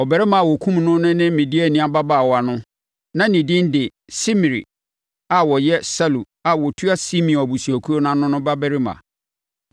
Ɔbarima a wɔkumm no ne Midiani ababaawa no, na ne din de Simri a na ɔyɛ Salu a ɔtua Simeon abusuakuo ano no babarima.